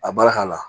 A baara ka la